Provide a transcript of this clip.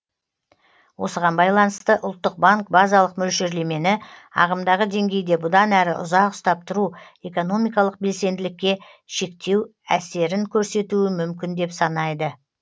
осыған байланысты ұлттық банк базалық мөлшерлемені ағымдағы деңгейде бұдан әрі ұзақ ұстап тұру экономикалық белсенділікке шектеу әсерін көрсетуі мүмкін деп санайды